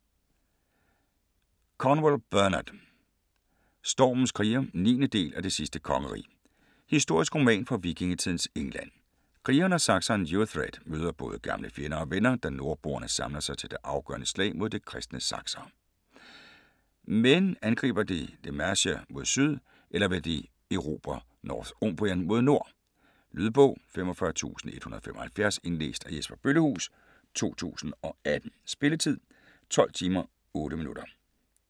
Cornwell, Bernard: Stormens krigere 9. del af Det sidste kongerige. Historisk roman fra vikingetidens England. Krigeren og sakseren Uhtred møder både gamle fjender og venner, da nordboerne samler sig til det afgørende slag mod de kristne saksere. Men angriber de Mercia mod syd eller vil de erobre Northumbrien mod nord? Lydbog 45175 Indlæst af Jesper Bøllehuus, 2018. Spilletid: 12 timer, 8 minutter.